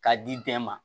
K'a di bɛɛ ma